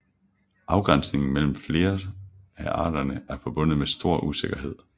Afgrænsningen mellem flere af arterne er forbundet med stor usikkerhed